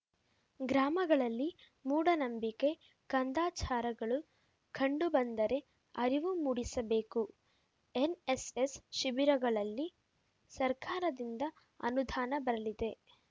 ಗ್ರಾಮಗಳಲ್ಲಿ ಮೂಢನಂಬಿಕೆ ಕಂದಾಚಾರಗಳು ಕಂಡು ಬಂದರೆ ಅರಿವು ಮೂಡಿಸಬೇಕು ಎನ್‌ಎಸ್‌ಎಸ್‌ ಶಿಬಿರಗಳಿಗೆ ಸರ್ಕಾರದಿಂದ ಅನುದಾನ ಬರಲಿದೆ